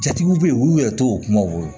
Jatigiw bɛ yen olu yɛrɛ t'o kumaw fɔ